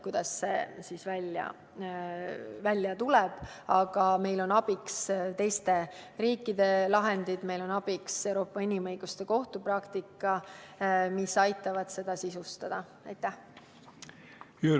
Aga meil on seejuures abiks teiste riikide lahendid ja Euroopa Inimõiguste Kohtu praktika, mis aitavad seda sisustada.